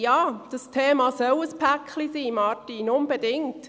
Ja, das Thema soll ein Päcklein sein, Martin Aeschlimann.